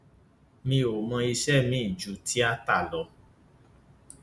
mi ò mọ iṣẹ miín ju tiata lọ